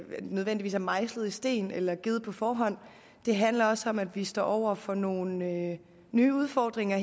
nødvendigvis er mejslet i sten eller givet på forhånd det handler også om at vi står over for nogle nye nye udfordringer